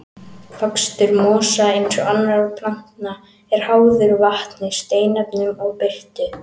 Vöxtur mosa, eins og annarra plantna, er háður vatni, steinefnum og birtu.